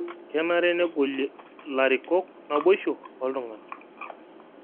Kenare negolie larikok naboisho ooltung'ana